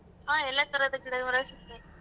ಹ್ಮ್ ಎಲ್ಲಾ ತರಹದ ಗಿಡಗಳು ಸಿಗ್ತಾವೆ.